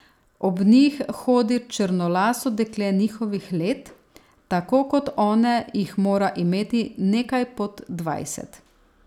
Ob njih hodi črnolaso dekle njihovih let, tako kot one jih mora imeti nekaj pod dvajset.